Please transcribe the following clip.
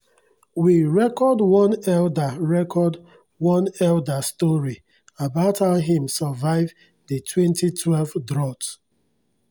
dem um teach us how to um collect and um store rainwater using drums.